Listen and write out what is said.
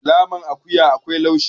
naman akuya akwai laushi